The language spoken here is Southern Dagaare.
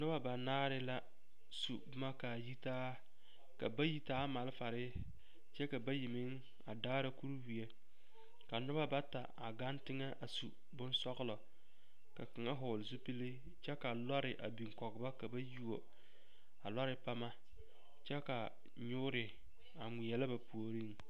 Noba banaare la su boma k,a yitaa ka bayi taa malfare kyɛ ka bayi meŋ a daara kuriwie ka noba bata a gaŋ teŋɛ a su bonsɔglɔ ka kaŋa vɔgle zupili kyɛ ka lɔre a biŋ kɔge ba ka ba yuo a lɔre pama kyɛ ka nyoore a ŋmeɛlɛ a ba puoriŋ.